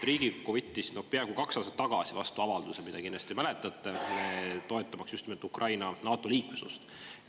Riigikogu võttis peaaegu kaks aastat tagasi vastu avalduse, mida kindlasti mäletate, toetamaks just nimelt Ukraina NATO‑liikmesust.